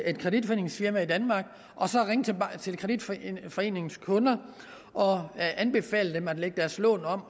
et kreditforeningsfirma i danmark og så ringe til kreditforeningens kunder og anbefale dem at lægge deres lån om